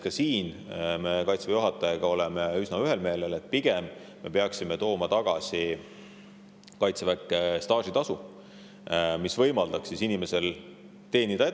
Ka selles me oleme Kaitseväe juhatajaga üsna ühel meelel, et pigem me peaksime Kaitseväkke tagasi tooma staažitasu, mis võimaldaks inimestel edasi teenida.